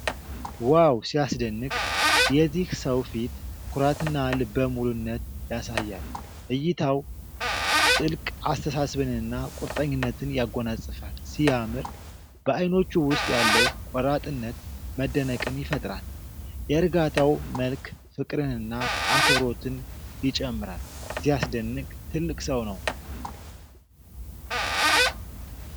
ዋው ሲያስደንቅ! የዚህ ሰው ፊት ኩራትና ልበ ሙሉነት ያሳያል። እይታው ጥልቅ አስተሳሰብንና ቁርጠኝነትን ያጎናጽፋል። ሲያምር! በአይኖቹ ውስጥ ያለው ቆራጥነት መደነቅን ይፈጥራል። የእርጋታው መልክ ፍቅርንና አክብሮትን ይጨምራል። ሲያስደንቅ! ትልቅ ሰው ነው!